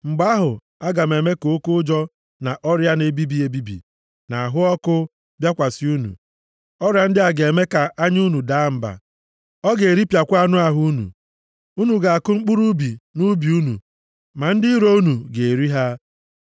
mgbe ahụ, aga m eme ka oke ụjọ, na ọrịa na-ebibi ebibi, na ahụ ọkụ, bịakwasị unu. Ọrịa ndị a ga-eme ka anya unu daa mba, ọ ga-eripịakwa anụ ahụ unu. Unu ga-akụ mkpụrụ ubi nʼubi unu ma ndị iro unu ga-eri ha.